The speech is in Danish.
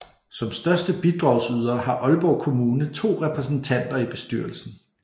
Som største bidragsyder har Aalborg Kommune 2 repræsentanter i bestyrelsen